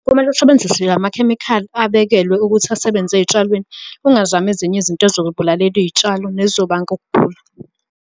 Kumele usebenzise la makhemikhali abekelwe ukuthi asebenze ey'tshalweni, ungazami ezinye izinto ey'zokubulalela iy'tshalo ney'zobanga ukugula.